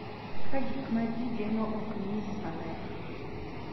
Ka gik ma ji geno ok onyis maler,